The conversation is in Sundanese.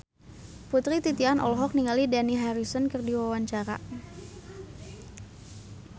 Putri Titian olohok ningali Dani Harrison keur diwawancara